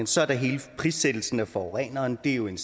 så er der hele prissættelsen af forureningen det er jo en